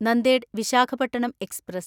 Nanded Visakhapatnam express